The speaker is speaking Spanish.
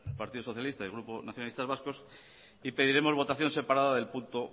partido socialista el grupo nacionalistas vascos pediremos votación separada del punto